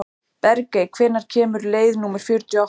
Bergey, hvenær kemur leið númer fjörutíu og átta?